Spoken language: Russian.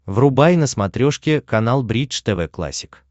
врубай на смотрешке канал бридж тв классик